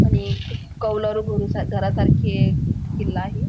आणि एक कौलारू घुरूसा घरासारखे किल्ला आहे.